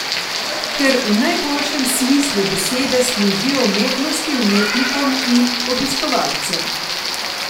Ker v najboljšem smislu besede služijo umetnosti, umetnikom in obiskovalcem.